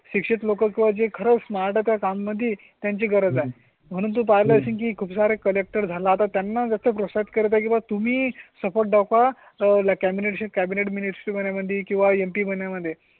शिक्षित लोक किंवा जे खर्च नाटकां मध्ये त्यांची गरज आहे म्हणून पाहिलं की खूप सारे कलेक्टर झाला. आता त्यांना जास्त प्रोसेस काही तुम्ही सपोर्ट दाखवा ला कॅबिनेट कॅबिनेट, मिनिस्टर या मध्ये किंवा एटीनएमपी महिन्या मध्ये